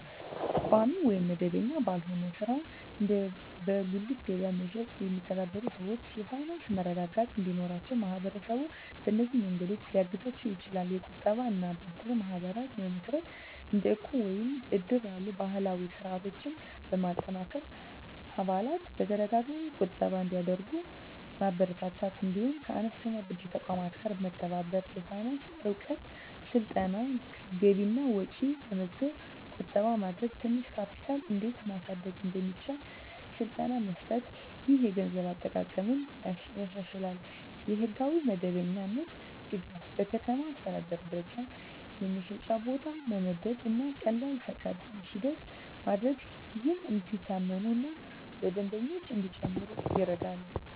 ቋሚ ወይም መደበኛ ባልሆነ ሥራ (እንደ በጉሊት ገበያ መሸጥ) የሚተዳደሩ ሰዎች የፋይናንስ መረጋጋት እንዲኖራቸው ማህበረሰቡ በእነዚህ መንገዶች ሊያግዛቸው ይችላል፦ የቁጠባ እና ብድር ማህበራት መመስረት – እንደ ዕቁብ ወይም እድር ያሉ ባህላዊ ስርዓቶችን በማጠናከር አባላት በተደጋጋሚ ቁጠባ እንዲያደርጉ ማበረታታት። እንዲሁም ከአነስተኛ ብድር ተቋማት ጋር መተባበር። የፋይናንስ እውቀት ስልጠና – ገቢና ወጪ መመዝገብ፣ ቁጠባ ማድረግ፣ ትንሽ ካፒታል እንዴት ማሳደግ እንደሚቻል ስልጠና መስጠት። ይህ የገንዘብ አጠቃቀምን ያሻሽላል። የሕጋዊ መደበኛነት ድጋፍ – በከተማ አስተዳደር ደረጃ የመሸጫ ቦታ መመደብ እና ቀላል ፈቃድ ሂደት ማድረግ፣ ይህም እንዲታመኑ እና ደንበኞች እንዲጨምሩ ይረዳል።